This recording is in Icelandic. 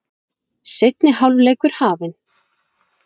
Seinni hálfleikur hafinn